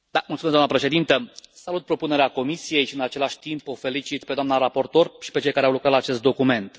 Mulțumesc, doamna președintă, salut propunerea Comisiei și, în același timp, o felicit pe doamna raportor și pe cei care au lucrat la acest document.